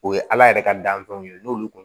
O ye ala yɛrɛ ka danfɛnw ye n'olu